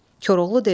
Koroğlu dedi: